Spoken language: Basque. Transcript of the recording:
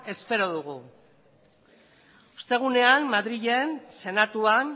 espero dugu ostegunean madrilen senatuan